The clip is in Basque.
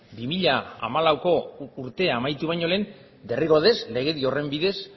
bi mila hamalau urtea amaitu baino lehen derrigorrez legedi horren bidez